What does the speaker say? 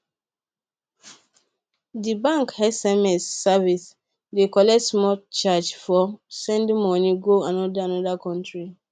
d bank sms service dey collect small charge for sending moni go another another country